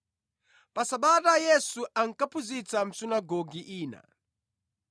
Pa Sabata Yesu ankaphunzitsa mʼsunagoge ina,